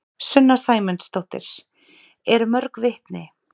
Sunna Sæmundsdóttir: Eru mörg vitni?